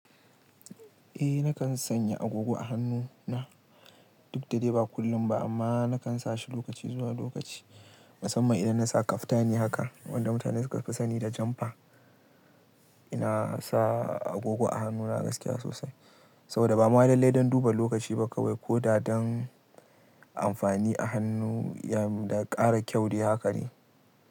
Eh nakan sanya agogo a hannu na duk da dai ba kullum ba amma nakan sa shi lokaci zuwa lokaci musamman idan na sa kaftani haka wanda mutane suka fi sani da janfa. Ina sa agogo a hannuna gaskiya sosai saboda ba ma lallai don duba lokaci ba kawai ko da don amfani a hannu ya ƙara kyau dai haka ne.